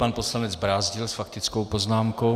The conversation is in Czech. Pan poslanec Brázdil s faktickou poznámkou.